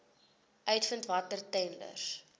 uitvind watter tenders